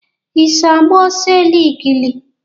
I so agba ọsọ eligili?